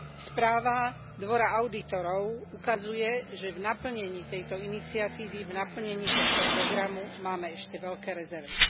Správa Dvora audítorov ukazuje, že v naplnení tejto iniciatívy, v naplnení tohto programu máme ešte veľké rezervy.